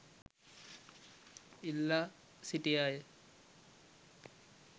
ඉල්ලා සිටියාය.